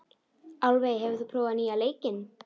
Álfey, hefur þú prófað nýja leikinn?